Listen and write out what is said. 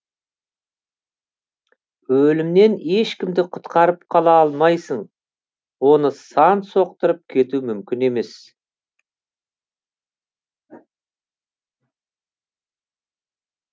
өлімнен ешкімді құтқарып қала алмайсың оны сан соқтырып кету мүмкін емес